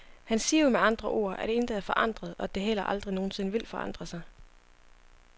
Han siger jo med andre ord, at intet er forandret, og at det heller aldrig nogen sinde vil forandre sig.